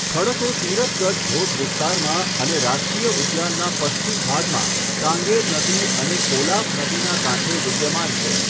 ખડકો તિરથગઢ ધોધ વિસ્તારમાં અને રાષ્ટ્રીય ઉદ્યાનના પશ્ચિમ ભાગમાં કાંગેર નદી અને કોલાબ નદીના કાંઠે વિદ્યામાન છે.